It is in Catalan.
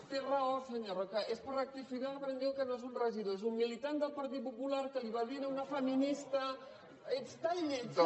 té raó senyor roca és per rectificar i dir que no és un regidor és un militant del partit popular que li va dir a una feminista ets tan lletja